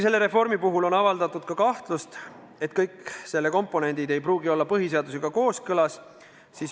Selle reformi puhul on avaldatud ka kahtlust, et kõik selle komponendid ei pruugi olla põhiseadusega kooskõlas.